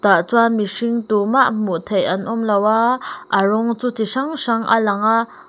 ah chuan mihring tumah hmuh theih an awm lo a a rawng chu chi hrang hrang a lang.